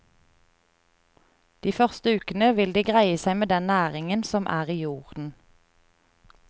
De første ukene vil de greie seg med den næringen som er i jorden.